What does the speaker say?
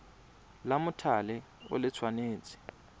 la mothale o le tshwanetse